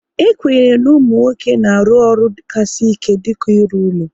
E kwenyere na ụmụ nwoke na-arụ ọrụ ka sị ike dịka ịrụ ụlọ